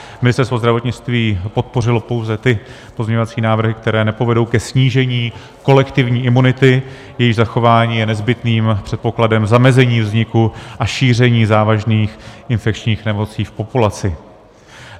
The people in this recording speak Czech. Ministerstvo zdravotnictví podpořilo pouze ty pozměňovací návrhy, které nepovedou ke snížení kolektivní imunity, jejíž zachování je nezbytným předpokladem zamezení vzniku a šíření závažných infekčních nemocí v populaci.